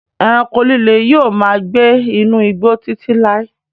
Ẹranko líle yóò máa gbé inú igbó Títí láí.